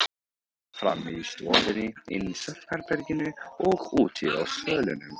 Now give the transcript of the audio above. Frammi í stofunni, inni í svefnherberginu og úti á svölunum.